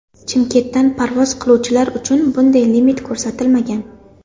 Chimkentdan parvoz qiluvchilar uchun bunday limit ko‘rsatilmagan.